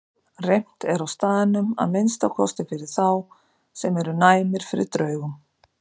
Reimt er á staðnum, að minnsta kosti fyrir þá sem eru næmir fyrir draugum.